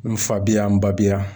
N fa bi yan, n ba bi yan.